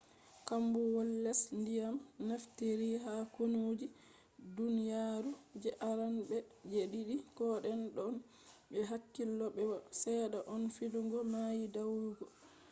combowol les ndiyam nafitiri ha kunu je duniyaru je arande be je didi. koden don be hakkilo be bo sedda on fidugo mai dayugo